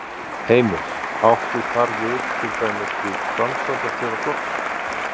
Heimir: Áttu þar við til dæmis við framkvæmdarstjóra flokksins?